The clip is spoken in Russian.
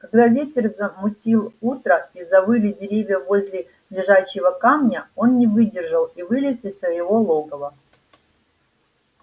когда ветер замутил утро и завыли деревья возле лежачего камня он не выдержал и вылез из своего логова